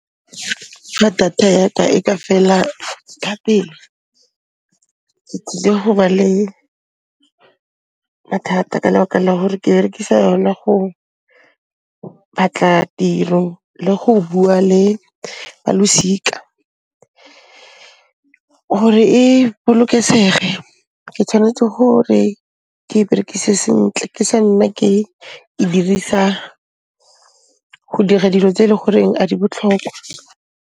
Ka data ya ka e ka fela ka pele, ke tsile ho ba le mathata ka lebaka la hore ke berekisa yona go batla tiro le go bua le ba losika. Gore e bolokesege, ke tshwanetse gore ke e berekise sentle, ke sa nna ke e dirisa go dira dilo tse e le goreng a di botlhokwa.